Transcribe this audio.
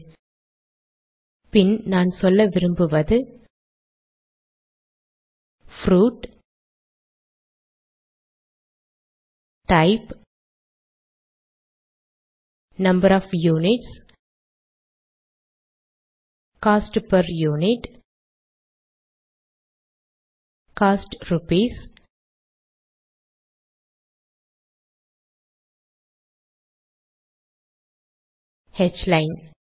அப்புறம் நான் சொல்ல விரும்புவது fruit type number of units cost per unit cost rupees line